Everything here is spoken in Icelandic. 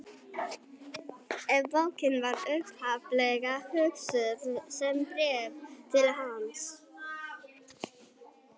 Bókin var upphaflega hugsuð sem bréf til hans.